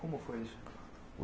Como foi isso?